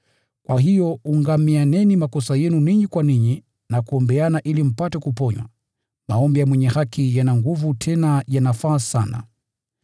Kwa hiyo ungamianeni dhambi zenu ninyi kwa ninyi na kuombeana ili mpate kuponywa. Maombi ya mwenye haki yana nguvu tena yanafaa sana.